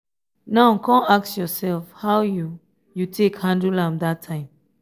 now con ask ursef how yu yu take handle am dat time